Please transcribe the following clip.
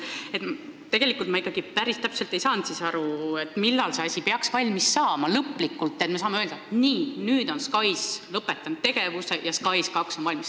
Aga ma ei saanud ikkagi päris täpselt aru, millal peaks see asi lõplikult valmis saama, nii et me saaksime öelda: nüüd on eelmine SKAIS tegevuse lõpetanud ja SKAIS2 on valmis.